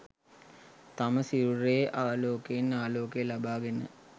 තම සිරුරේ ආලෝකයෙන් ආලෝකය ලබාගෙන